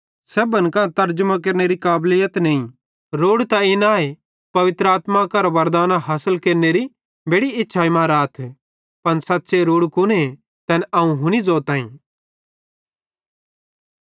सेब्भन कां तरजमो केरनेरी काबलीत नईं रोड़ू त इन आए पवित्र आत्मां करां वरदानां हासिल केरनेरी बेड़ि इच्छाई मां राथ पन सच़्च़े रोड़ू कुने तैन अवं हुनी ज़ोताईं